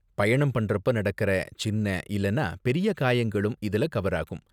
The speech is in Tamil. பயணம் பண்றப்ப நடக்கற சின்ன இல்லனா பெரிய காயங்களும் இதுல கவர் ஆகும்.